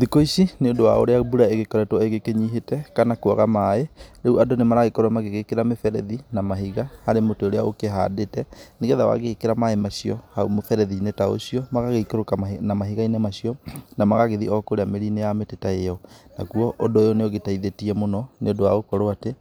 Thikũ ici nĩ ũndũ wa ũrĩa mbura ĩgĩkoretwo ĩgĩkĩnyitĩte kana kwaga maĩ, rĩu andũ nĩ maragĩkorwo magĩgĩkĩra mĩberethi na mahiga harĩ mũtĩ ũrĩa ũkĩhandĩte, nĩgetha wagĩkĩra maĩ macio hau mũberethi-inĩ ta ũcio, magagĩikũrũka na mahiga-inĩ macio na magagĩthiĩ o kũrĩa mĩri-inĩ ya mĩtĩ-inĩ ta ĩyo. Nakuo ũndũ ũyũ nĩ ũgĩteithĩtie mũno nĩ ũndũ wa gũkorwo atĩ